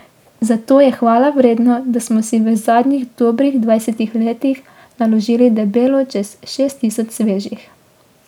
Zato je hvalevredno, da smo si v zadnjih dobrih dvajsetih letih naložili debelo čez šest tisoč svežih.